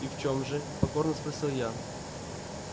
и в чем же покорно спросил я